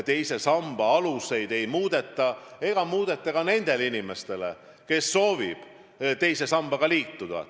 Teise samba aluseid ei muudeta, ei muudeta ka nendele inimestele, kes nüüd soovivad teise sambaga liituda.